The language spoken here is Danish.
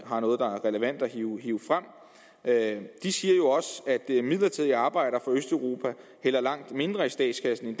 har noget der er relevant at hive frem at de midlertidige arbejdere østeuropa hælder langt mindre i statskassen